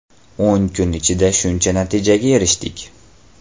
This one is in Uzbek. O‘n kun ichida shuncha natijaga erishdik.